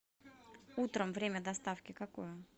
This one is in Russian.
утром время доставки какое